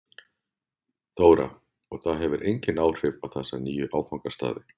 Þóra: Og það hefur engin áhrif á þessa nýju áfangastaði?